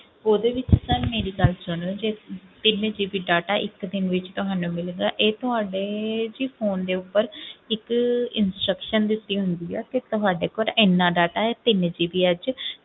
ਉਹਦੇ ਵਿੱਚ sir ਮੇਰੀ ਗੱਲ ਸੁਣੋ ਜੇ ਤਿੰਨ GB data ਇੱਕ ਦਿਨ ਵਿੱਚ ਤੁਹਾਨੂੰ ਮਿਲਦਾ ਹੈ, ਇਹ ਤੁਹਾਡੇ ਜੀ phone ਦੇ ਉੱਪਰ ਇੱਕ instruction ਦਿੱਤੀ ਹੁੰਦੀ ਆ ਕਿ ਤੁਹਾਡੇ ਕੋਲ ਇੰਨਾ data ਹੈ ਤਿੰਨ GB ਆ ਇਹ 'ਚ